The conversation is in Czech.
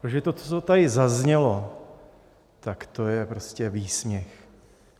Protože to, co tady zaznělo, tak to je prostě výsměch.